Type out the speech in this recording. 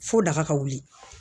Fo daga ka wuli